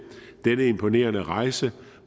den imponerende rejse